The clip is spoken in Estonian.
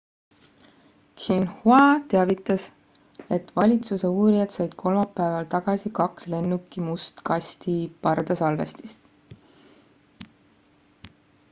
xinhua teavitas et valitsuse uurijad said kolmapäeval tagasi kaks lennuki must kasti pardasalvestist